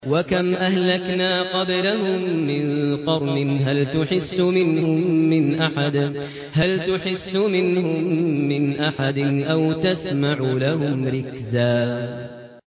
وَكَمْ أَهْلَكْنَا قَبْلَهُم مِّن قَرْنٍ هَلْ تُحِسُّ مِنْهُم مِّنْ أَحَدٍ أَوْ تَسْمَعُ لَهُمْ رِكْزًا